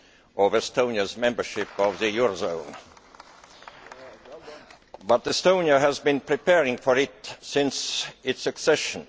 of Estonia's membership of the eurozone, but Estonia has been preparing for this since its accession.